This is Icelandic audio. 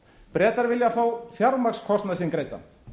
bretar vilja fá fjármagnskostnaðinn sinn greiddan